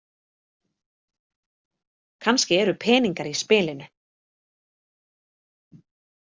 Kannski eru peningar í spilinu.